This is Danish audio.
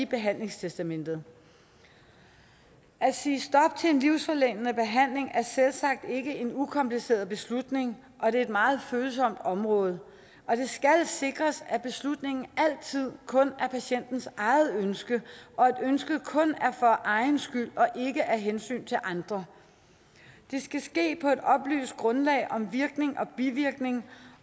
behandlingstestamentet at sige stop til en livsforlængende behandling er selvsagt ikke en ukompliceret beslutning og det er et meget følsomt område det skal sikres at beslutningen altid kun er patientens eget ønske og at ønsket kun er for egen skyld og ikke af hensyn til andre det skal ske på et oplyst grundlag om virkning og bivirkning